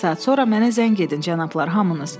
Bir saat sonra mənə zəng edin, cənablar, hamınız.